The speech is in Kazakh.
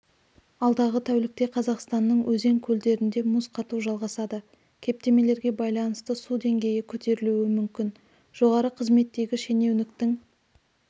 алдағы тәулікте қазақстанның өзен-көлдерінде мұз қату жалғасады кептемелерге байланысты су деңгейі көтерілуі мүмкін жоғары қызметтегі шенеуніктің